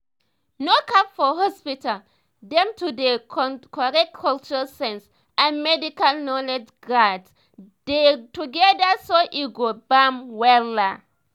no cap for hospital dem to dey correctcultural sense and medical knowledge gats dey together so e go bam wella